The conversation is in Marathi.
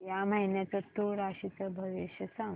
या महिन्याचं तूळ राशीचं भविष्य सांग